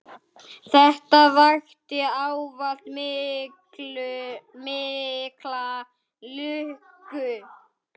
Þetta vakti ávallt mikla lukku.